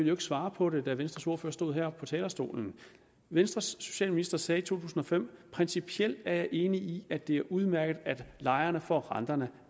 jo ikke svare på det da venstres ordfører stod her på talerstolen venstres socialminister sagde i 2005 principielt er jeg enig i at det er udmærket at lejerne får renterne